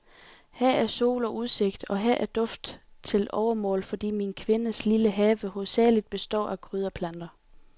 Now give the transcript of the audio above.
Her er sol og udsigt, og her er duft til overmål, fordi min kvindes lille have hovedsagelig består af krydderplanter.